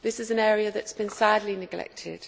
This is an area that has been sadly neglected.